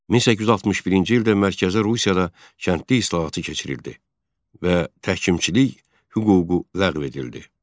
1861-ci ildə Mərkəzi Rusiyada kəndli islahatı keçirildi və təhkimçilik hüququ ləğv edildi.